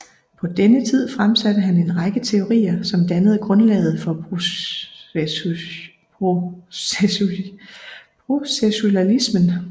På denne tid fremsatte han en række teorier som dannede grundlaget for processualismen